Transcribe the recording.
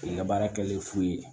U ka baara kɛlen fu ye